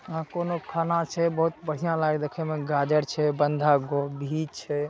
आ कोनो खाना छै बहुत बढ़िया लागे देखे में गाजर छै बंधा गोभी छै।